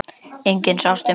Enginn sást um borð.